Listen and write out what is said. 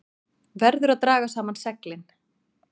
Verður að draga saman seglin